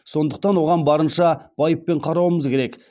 сондықтан оған барынша байыппен қарауымыз керек